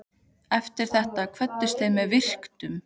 Eftir þetta kvöddust þeir með virktum.